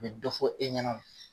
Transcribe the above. bɛ dɔ fɔ e ɲɛna